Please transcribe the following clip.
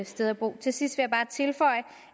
sted at bo til sidst vil jeg bare tilføje